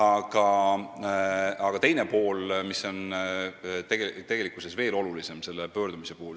Aga siin on ka teine pool, mis on selle pöördumise puhul veel olulisem.